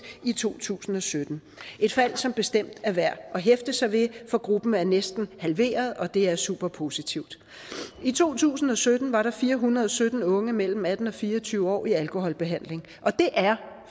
i to tusind og sytten et fald som bestemt er værd at hæfte sig ved for gruppen er næsten halveret og det er superpositivt i to tusind og sytten var der fire hundrede og sytten unge mellem atten og fire og tyve år i alkoholbehandling det er